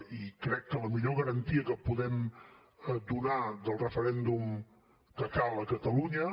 i crec que la millor garantia que podem donar del referèndum que cal a catalunya